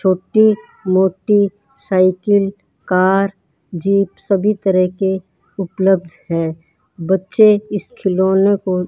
छोटी मोटी cycle car jeep सभी तरह के उपलब्ध हैं बच्चे इस खिलौनों को --